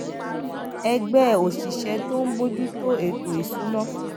ẹgbẹ òṣìṣẹ tó ń bójú tó ètò ìṣúnná